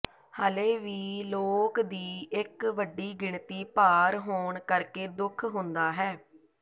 ਹਾਲੇ ਵੀ ਲੋਕ ਦੀ ਇੱਕ ਵੱਡੀ ਗਿਣਤੀ ਭਾਰ ਹੋਣ ਕਰਕੇ ਦੁੱਖ ਹੁੰਦਾ ਹੈ